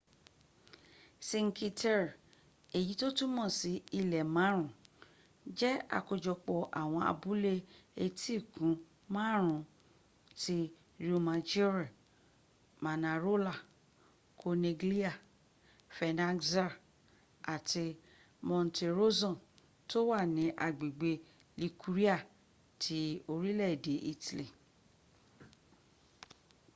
cinque terre èyí to túmọ́ sí ilẹ́ márùn jẹ àkójọpọ̀ àwọn abúlé étíkun márùn ti riomaggiore manarola corniglia vernaxxa àti monterosson tó wà nií agbẹ̀gbẹ̀ liguria ti orílè-èdè italy